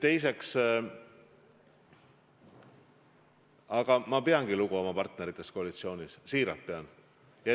Teiseks, ma peangi lugu oma partneritest koalitsioonis – siiralt pean.